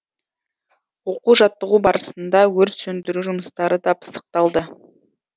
оқу жаттығу барысында өрт сөндіру жұмыстары да пысықталды